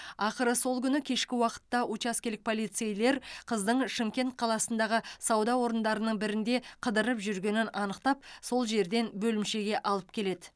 ақыры сол күні кешкі уақытта учаскелік полицейлер қыздың шымкент қаласындағы сауда орындарының бірінде қыдырып жүргенін анықтап сол жерден бөлімшеге алып келеді